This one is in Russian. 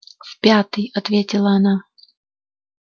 в пятый ответила она